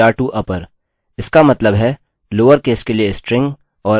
इसका मतलब है लोअर केस के लिए स्ट्रिंग और अपर केस के लिए स्ट्रिंग